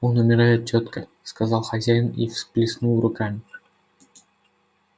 он умирает тётка сказал хозяин и всплеснул руками